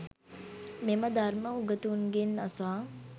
මෙම ධර්‍ම උගතුන්ගෙන් අසා